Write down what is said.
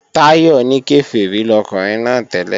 Táyọ̀ ní Kèfèrí lọkùnrin náà tẹ́lẹ̀